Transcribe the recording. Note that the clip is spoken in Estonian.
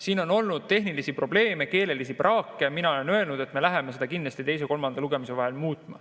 Siin on olnud tehnilisi probleeme, keelelist praaki ja mina olen öelnud, et me kindlasti muudame seda teise ja kolmanda lugemise vahel.